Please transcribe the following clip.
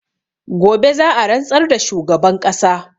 Gobe za'a rantsar da shugaban ƙasa